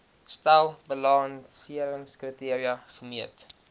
stel balanseringskriteria gemeet